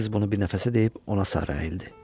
Qız bunu bir nəfəsə deyib ona sarı əyildi.